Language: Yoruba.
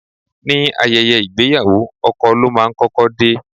Ní ayẹyẹ ìgbéyàwó, ọkọ ló máa ń kọ́kọ́ dé.